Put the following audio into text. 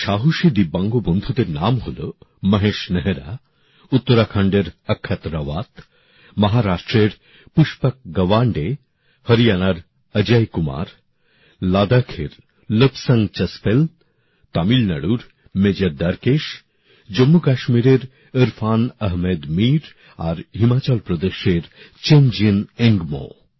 এই সাহসী ভিন্নভাবে সক্ষম বন্ধুদের নাম হল মহেশ নেহরা উত্তরাখণ্ডের অক্ষত রাওয়াত মহারাষ্ট্রের পুষ্পক গবাণ্ডে হরিয়ানার অজয় কুমার লাদাখের লোবসং চস্পেল তামিলনাড়ুর মেজর দ্বারকেশ জম্মুকাশ্মীরের ইরফান আহমেদ মির আর হিমাচল প্রদেশের চোঞ্জিন এঙ্গমো